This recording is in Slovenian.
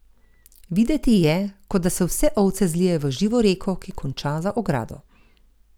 Videti je, kot da se vse ovce zlijejo v živo reko, ki konča za ogrado.